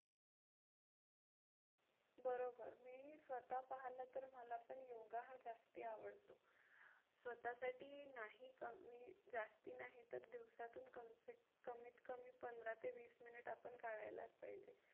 बरोबर. मी ही स्वतः पाहिलं तर मला पण योगा हा जास्ती आवडतो. स्वतःसाठी नाही मी जास्ती नाही तर दिवसातून कमीत कमी पंधरा ते वीस minute आपण काढायलाच पाहिजे.